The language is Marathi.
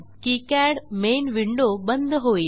किकाड मेन विंडो बंद होईल